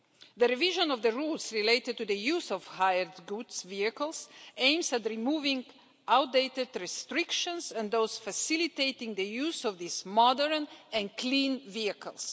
The revision of the rules relating to the use of hired goods vehicles aims at removing outdated restrictions and those facilitating the use of these modern and clean vehicles.